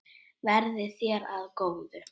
Verði þér að góðu.